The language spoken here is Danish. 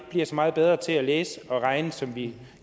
bliver så meget bedre til at læse og regne som vi